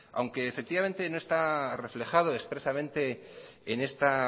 aunque no está reflejado expresamente en esta